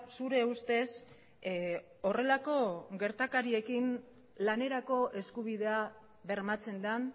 zure ustez horrelako gertakariekin lanerako eskubidea bermatzen den